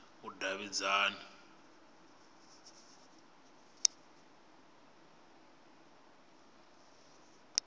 vhudavhidzani